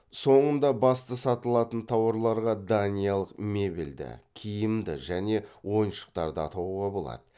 соңында басты сатылатын тауарларға даниялық мебельді киімді және ойыншықтарды атауға болады